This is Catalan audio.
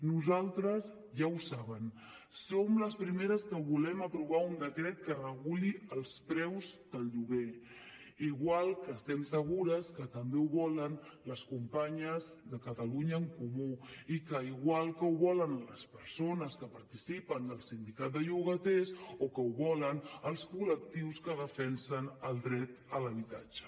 nosaltres ja ho saben som les primeres que volem aprovar un decret que reguli els preus del lloguer igual que estem segures que també ho volen les companyes de catalunya en comú i igual que ho volen les persones que participen del sindicat de llogaters o que ho volen els col·lectius que defensen el dret a l’habitatge